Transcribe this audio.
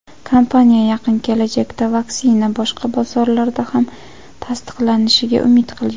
Kompaniya yaqin kelajakda vaksina boshqa bozorlarda ham tasdiqlanishiga umid qilgan.